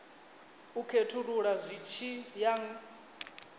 u khethulula zwi tshi ya